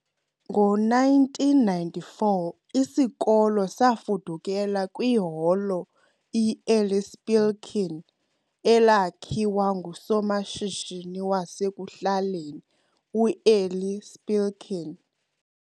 Ngowe-1994, isikolo safudukela kwiHolo i-Eli Spilkin, elakhiwa ngusomashishini wasekuhlaleni u-Eli Spilkin.